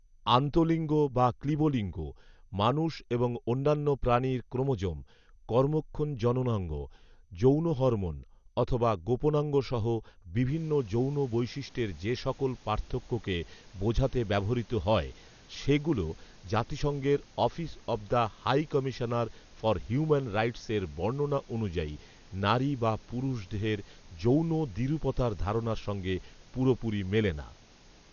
আন্তঃলিঙ্গ বা ক্লীবলিঙ্গ, মানুষ এবং অন্যান্য প্রাণীর ক্রোমোজোম, কর্মক্ষম জননাঙ্গ, যৌন হরমোন অথবা গোপনাঙ্গসহ বিভিন্ন যৌন বৈশিষ্ট্যের সে সকল পার্থক্যকে বোঝাতে ব্যবহৃত হয়, সেগুলো জাতিসংঘের "office of the high commissioner for human rights" এর বর্ণনা অনুযায়ী "নারী বা পুরুষ দেহের যৌন দ্বিরূপতার ধারণার সঙ্গে পুরোপুরি মেলে না